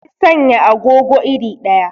Sun sanya agogo iri ɗaya.